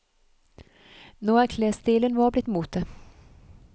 Nå er klesstilen vår blitt mote.